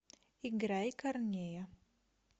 играй корнея